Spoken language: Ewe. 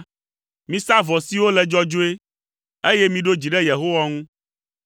Misa vɔ siwo le dzɔdzɔe, eye miɖo dzi ɖe Yehowa ŋu.